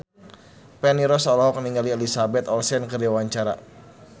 Feni Rose olohok ningali Elizabeth Olsen keur diwawancara